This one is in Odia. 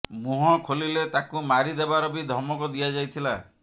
ମୁହଁ ଖୋଲିଲେ ତାକୁ ମାରି ଦେବାର ବି ଧମକ ଦିଆଯାଇଥିଲା